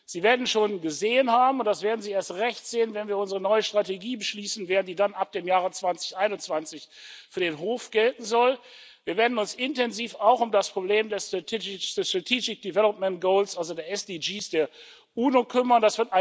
Sie werden schon gesehen haben und das werden Sie erst recht sehen, wenn wir unsere neue Strategie beschließen werden, die dann ab dem Jahre 2021 für den Hof gelten soll Wir werden uns intensiv auch um das Problem der sustainable development goals also der SDGs der UNO kümmern.